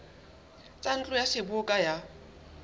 tsa ntlo ya seboka ya